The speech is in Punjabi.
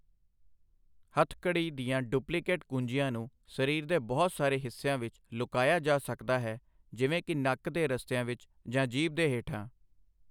ਹੱਥਕੜੀ ਦੀਆਂ ਡੁਪਲੀਕੇਟ ਕੁੰਜੀਆਂ ਨੂੰ ਸਰੀਰ ਦੇ ਬਹੁਤ ਸਾਰੇ ਹਿੱਸਿਆਂ ਵਿੱਚ ਲੁਕਾਇਆ ਜਾ ਸਕਦਾ ਹੈ, ਜਿਵੇਂ ਕਿ ਨੱਕ ਦੇ ਰਸਤਿਆਂ ਵਿੱਚ ਜਾਂ ਜੀਭ ਦੇ ਹੇਠਾਂ।